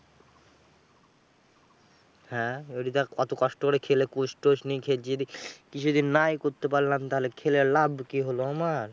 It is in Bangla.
হ্যাঁ এবারে যা ওতো কষ্ট করে খেলে coach টোচ নিয়ে খেলছি। যদি কিছু তো নাই করতে পারলাম, থালে খেলে লাভ কি হল আমার?